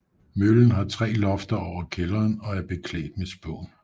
Møllen har tre lofter over kælderen og er beklædt med spån